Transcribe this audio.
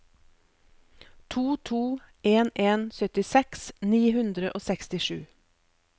to to en en syttiseks ni hundre og sekstisju